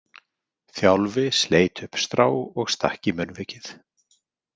Þjálfi sleit upp strá og stakk í munnvikið.